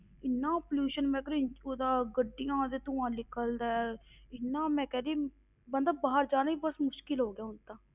ਇੰਨਾ pollution ਮੈਂ ਕਹਿ ਰਹੀ ਉਹਦਾ ਗੱਡੀਆਂ ਦਾ ਧੂੰਆ ਨਿਕਲਦਾ ਹੈ ਇੰਨਾ ਮੈਂ ਕਹਿ ਰਹੀ, ਬੰਦਾ ਬਾਹਰ ਜਾਣਾ ਹੀ ਮੁਸ਼ਕਲ ਹੋ ਗਿਆ ਹੁਣ ਤਾਂ,